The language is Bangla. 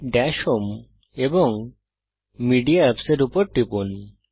দাশ হোম এবং মেডিয়া Apps এর উপর টিপুন